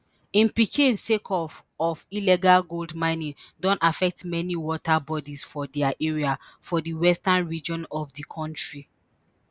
im pickin sake of of illegal gold mining don affect many water bodies for dia area for di western region of di kontri